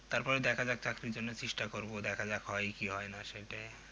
তারপরে দেখা যাক চাকরির জন্য চেষ্টা করবো দেখা যাক হয় কি হয় না সেটাই দেখার